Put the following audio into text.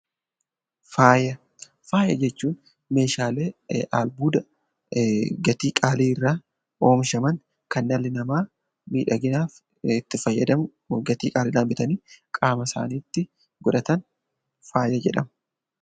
Faaya Faaya jechuun meeshaalee albuuda gatii qaalii irraa oomishaman kan dhalli namaa miidhaginaaf itti fayyadamu, gatii qaalii dhaan bitanii qaama isaaniitti godhatan 'Faaya' jedhama.